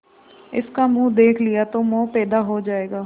इसका मुंह देख लिया तो मोह पैदा हो जाएगा